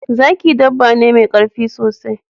Zaki dabba ne mai karfi sosai